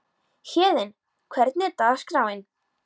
Héðinn, hvernig er dagskráin?